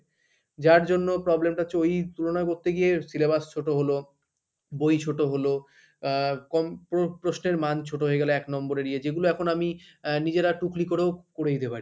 যার জন্য problem টা হচ্ছে ওই তুলনা করতে গিয়ে syllabus ছোটো হলো বই ছোট হলো আহ কম প্র~ প্রশ্নের মান ছোট হয়ে গেল এক number এর ইয়ে যেগুলো এখন আমি নিজেরা টুকলি করেও করে দিতে পারি।